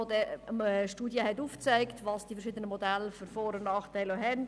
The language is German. Die Studie von Ecoplan hat aufgezeigt, welche Vor- und Nachteile die verschiedenen Modelle haben.